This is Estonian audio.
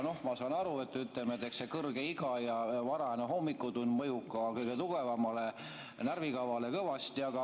Ma saan aru, et eks kõrge iga ja varajane hommikutund mõjub ka kõige tugevamale närvikavale kõvasti.